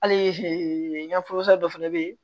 Hali n y'o dɔ fɛnɛ bɛ yen